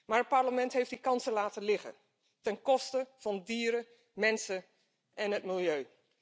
Maar het Parlement heeft die kansen laten liggen ten koste van dieren, mensen en het milieu.